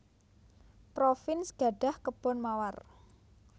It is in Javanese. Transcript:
Provins gadhah kebon mawar